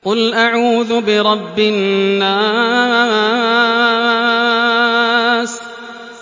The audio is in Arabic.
قُلْ أَعُوذُ بِرَبِّ النَّاسِ